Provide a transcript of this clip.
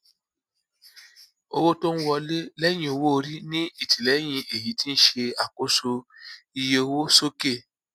owó tóń wọlé lẹyìn owóorí ní ìtìlẹyìn èyí ti ṣe àkóso iye owó sókè